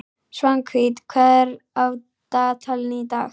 Svanhvít, hvað er á dagatalinu í dag?